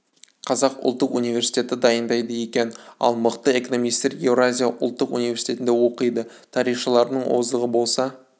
қазақ ұлттық университеті дайындайды екен ал мықты экономистер еуразия ұлттық университетінде оқиды тарихшылардың озығы болса